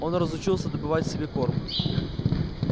он разучился добывать себе корм